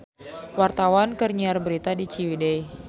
Wartawan keur nyiar berita di Ciwidey